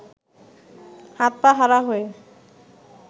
হাত-পা হারা হয়ে